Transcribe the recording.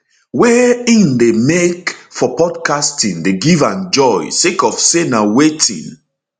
wey im dey make for podcasting dey give am joy sake of say na wetin